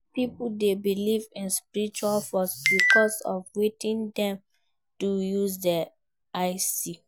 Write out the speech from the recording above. Pipo de believe in spiritual forces because of wetin dem do use their eyes see